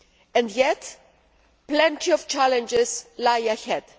And yet plenty of challenges lie ahead.